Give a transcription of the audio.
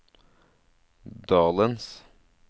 dalens